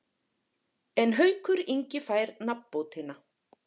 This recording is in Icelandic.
En Haukur Ingi fær nafnbótina.